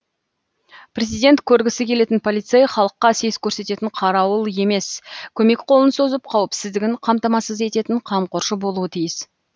президент көргісі келетін полицей халыққа сес көрсететін қарауыл емес көмек қолын созып қауіпсіздігін қамтамасыз ететін қамқоршы болуы тиіс